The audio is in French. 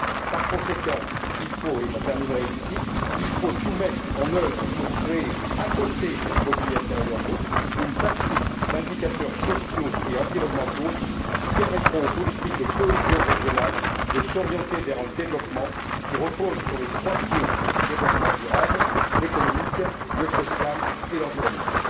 Par conséquent, il faut, et je terminerai par ceci, tout mettre en œuvre pour créer, à côté du produit intérieur brut, une batterie d'indicateurs sociaux et environnementaux qui permettront aux politiques de cohésion régionale de s'orienter vers un développement qui repose sur les trois pieds du développement durable, l'économique, le social et l'environnement.